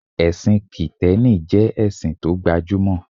Ẹ̀sìn kìtẹ́nì jẹ́ ẹ̀sìn tó gba jú mọ̀